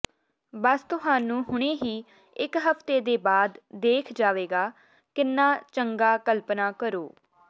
ਬਸ ਤੁਹਾਨੂੰ ਹੁਣੇ ਹੀ ਇਕ ਹਫਤੇ ਦੇ ਬਾਅਦ ਦੇਖ ਜਾਵੇਗਾ ਕਿੰਨਾ ਚੰਗਾ ਕਲਪਨਾ ਕਰੋ